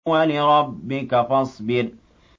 وَلِرَبِّكَ فَاصْبِرْ